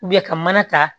ka mana ta